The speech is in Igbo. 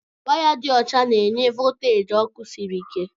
Waya dị ọcha na-enye volteji ọkụ sịrị ike.